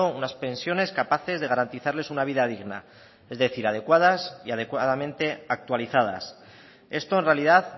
unas pensiones capaces de garantizarles una vida digna es decir adecuadas y adecuadamente actualizadas esto en realidad